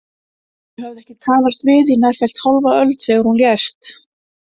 Þau höfðu ekki talast við í nærfellt hálfa öld þegar hún lést.